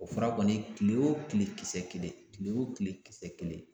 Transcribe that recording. O fura kɔni kile o kile kisɛ kelen, kile o kile kisɛ kelen.